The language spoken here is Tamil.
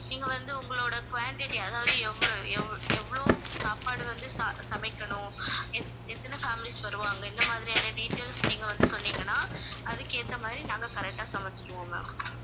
நீங்க வந்து உங்களோட quantity அதாவது எவ்ளோ எவ்~ எவ்ளோ சாப்பாடு வந்து ச~ சமைக்கணும் எத்~ எத்தனை families வருவாங்க இந்த மாதிரியான details நீங்க வந்து சொன்னீங்கன்னா அதுக்கு ஏத்த மாதிரி நாங்க correct ஆ சமைச்சுடுவோம் ma'am